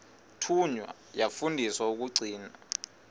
thunywa yafundiswa ukugcina